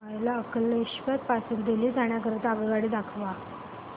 मला अंकलेश्वर पासून दिल्ली जाण्या करीता आगगाडी दाखवा